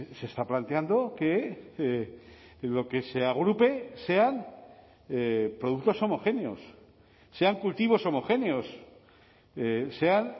se está planteando que lo que se agrupe sean productos homogéneos sean cultivos homogéneos sean